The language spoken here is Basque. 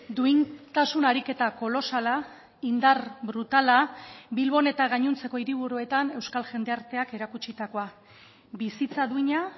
duintasun ariketa kolosala indar brutala bilbon eta gainontzeko hiriburuetan euskal jendarteak erakutsitakoa bizitza duina